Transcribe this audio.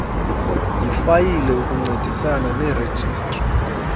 yifayile ukuncedisana nerejistri